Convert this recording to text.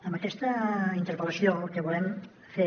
amb aquesta interpel·lació el que volem fer